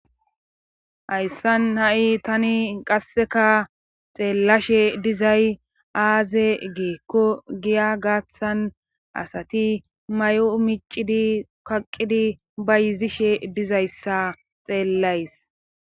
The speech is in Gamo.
Hayssan ha7i tani qasseka xeellashe dizay aaze geekko giya gaaththan asati may7o micidi kaqidi ba yizishe dizayssa xeellays.